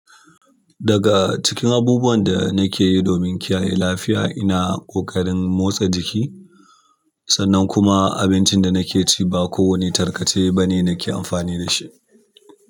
Daga cikin abubuwan da nake yi domin kiyaye lafiya, ina ƙoƙarin motsa jiki sannan kuma abincin da nake ci ba kowane tarkace bane nake amfani da shi.